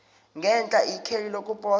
ngenhla ikheli lokuposa